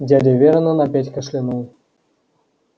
дядя вернон опять кашлянул